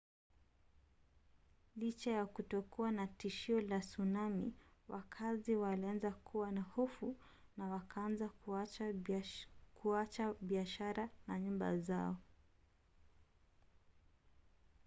licha ya kutokuwa na tishio la tsunami wakazi walianza kuwa na hofu na wakaanza kuacha biashara na nyumba zao